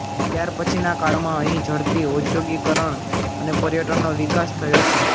ત્યાર પછીના કાળમાં અહીં ઝડપી ઔધ્યોગિકરણ અને પર્યટનનો વિકાસ થયો છે